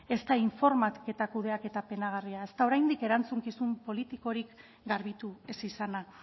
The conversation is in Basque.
ezta informazio kudeaketa penagarria ezta oraindik erantzukizun politikorik garbitu ez izana